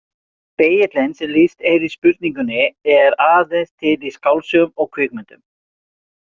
Spegillinn sem lýst er í spurningunni er aðeins til í skáldsögum og kvikmyndum.